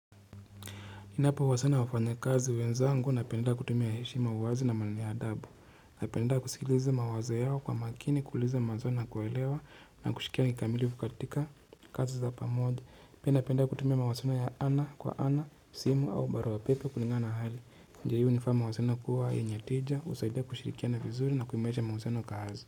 Inapo uwasana wafanya kazi wenzangu napenda kutumia heshima uwazi na mwenye adabu. Napenda kusikiliza mawaza yao kwa makini, kuliza mawaza na kuwelewa na kushikia kikamilivu katika kazi za pamoja. Mimi napenda kutumia mawazo ana kwa ana, simu au barua pepe kuninga na hali. Ndio nifaa mawaziliano kuwa enye tija, uzaidia kushirikia na vizuri na kuimarisha mawaziliano kazi.